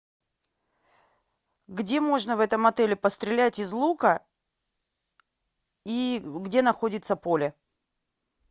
где можно в этом отеле пострелять из лука и где находится поле